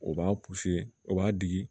O b'a o b'a di